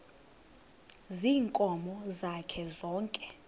ziinkomo zakhe zonke